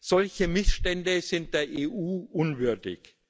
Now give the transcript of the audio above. Solche Missstände sind der EU unwürdig.